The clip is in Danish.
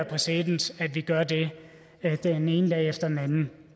præcedens at vi gør det den ene dag efter den anden